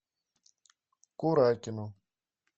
куракину